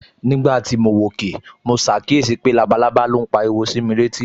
Nígbà tí mo wòkè, mo ṣàkíyèsí pé labalábá ló ń pariwo sí mi létí